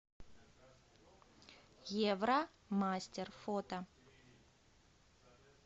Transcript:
евромастер фото